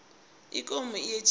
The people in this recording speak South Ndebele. ikomo iyetjisa